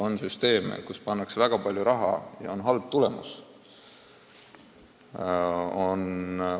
On süsteeme, kuhu pannakse väga palju raha, aga tulemus on halb.